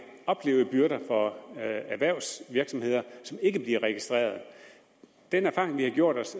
oplevede byrder for erhvervsvirksomheder som ikke bliver registreret den erfaring vi har gjort os